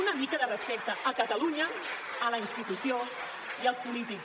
una mica de respecte a catalunya a la institució i als polítics